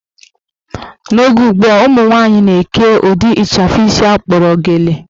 N'oge ugbua, ụmụnwaanyị na-eke ụdị ịchafụ isi akpọrọ gele